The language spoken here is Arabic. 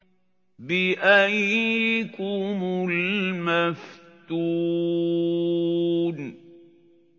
بِأَييِّكُمُ الْمَفْتُونُ